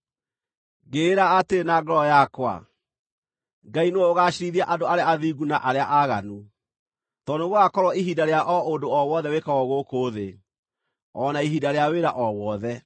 Ngĩĩra atĩrĩ na ngoro yakwa, “Ngai nĩwe ũgaaciirithia andũ arĩa athingu na arĩa aaganu, tondũ nĩgũgakorwo ihinda rĩa o ũndũ o wothe wĩkagwo gũkũ thĩ, o na ihinda rĩa wĩra o wothe.”